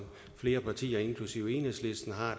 flere partier inklusive enhedslisten har